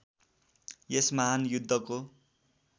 यस महान् युद्धको